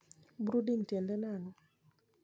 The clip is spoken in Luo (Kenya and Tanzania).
Brooding tiende nang`o.